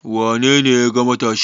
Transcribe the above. Wane ne ya yaga matashin?